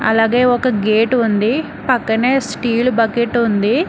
అలాగేయ్ ఒక గేట్ ఉంది పక్కనే ఒక స్టీల్ బకెట్ ఉంది.